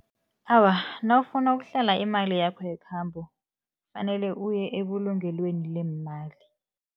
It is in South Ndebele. Awa, nawufuna ukuhlela imali yakho yekhambo, kufanele uye ebulungelweni leemali.